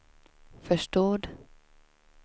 förstod